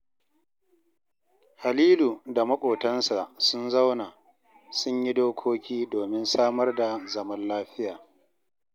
Halilu da maƙotansa sun zauna, sun yi dokoki domin samar da zaman lafiya